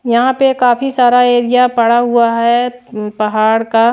यहां पे काफी सारा एरिया पड़ा हुआ है पहाड़ का--